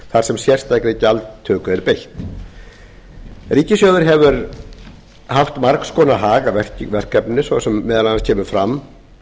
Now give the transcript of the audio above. þar sem sérstakri gjaldtöku er beitt ríkissjóður hefur haft margs konar hag af verkefninu sem meðal annars kemur fram